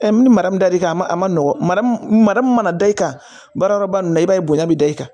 min ni mara min ka di i kan a ma nɔgɔn mara mun mana da i kan baarayɔrɔba in na i b'a ye bonya bɛ da i kan